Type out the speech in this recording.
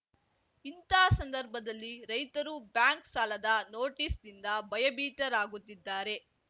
ಇಂಥ ಸಂದರ್ಭದಲ್ಲಿ ರೈತರು ಬ್ಯಾಂಕ್‌ ಸಾಲದ ನೋಟಿಸ್‌ನಿಂದ ಭಯಭೀತರಾಗುತ್ತಿದ್ದಾರೆ